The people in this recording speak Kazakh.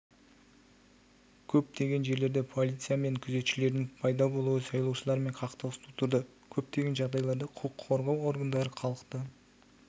көптеген жерлерде полиция мен күзетшілердің пайда болуы сайлаушылармен қақтығыс тудырды көптеген жағдайларда құқық қорғау органдары халықты